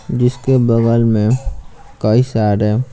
जिसके बगल में कई सारे--